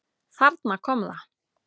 Þarna kom það!